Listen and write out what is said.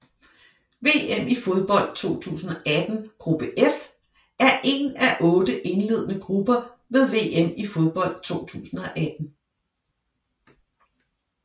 VM i fodbold 2018 gruppe F er en af otte indledende grupper ved VM i fodbold 2018